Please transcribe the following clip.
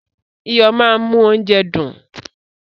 Iyo máa ń mú óúnjẹ dùn.